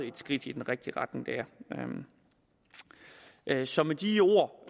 et skridt i den rigtige retning det er så med de ord